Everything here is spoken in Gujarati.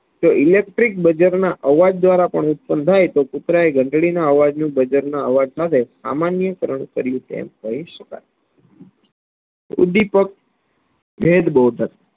જે electric બજરંજ અવાજ દ્વારા પણ ઉત્પન્ન થાય તો કુતરાયે ધંટડીના અવાજનું બાજરાના અવાજસાથે સામાન્ય કારણ કર્યું તેમ કહી શકાય ઉદીપક ભેદ બૌદ્ધ